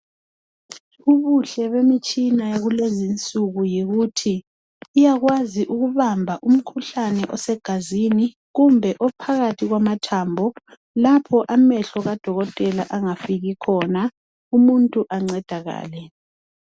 Ubuhle bemitshina yakulezinsuku yikuthi iyakwazi ukubamba umkhuhlane osegazini kumbe ophakathi kwamathambo lapho amehlo kadokotela angafiki khona umuntu ancedakale